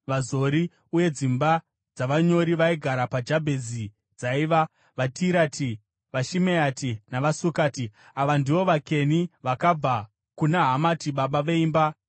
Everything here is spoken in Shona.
uye dzimba dzavanyori vaigara paJabhezi dzaiva: vaTirati, vaShimeati navaSukati. Ava ndivo vaKeni vakabva kuna Hamati baba veimba yaRekabhi.